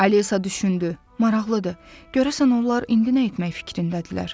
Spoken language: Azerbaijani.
Alisa düşündü, maraqlıdır, görəsən onlar indi nə etmək fikrindədirlər?